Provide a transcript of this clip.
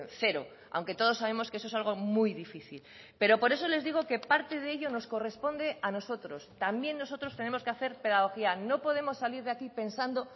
cero aunque todos sabemos que eso es algo muy difícil pero por eso les digo que parte de ello nos corresponde a nosotros también nosotros tenemos que hacer pedagogía no podemos salir de aquí pensando